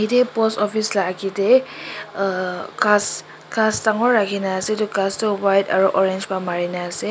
Etu a post office la agete uh khass khass dangor rakhena ase etu khass tho white aro orange bra marena ase.